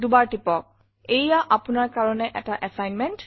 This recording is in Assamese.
ল্টপাউচেগ্ট এইয়া আপোনাৰ কাৰণে এটা এছাইনমেণ্ট